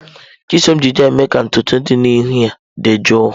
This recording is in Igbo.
Chisom ji jel mee ka ntutu dị n'ihu ya dị jụụ.